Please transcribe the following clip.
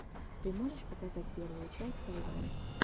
ты можешь показать первую часть сайван